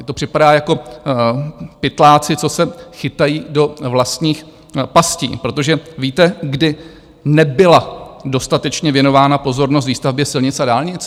Mně to připadá jako pytláci, co se chytají do vlastních pastí, protože víte, kdy nebyla dostatečně věnována pozornost výstavbě silnic a dálnic?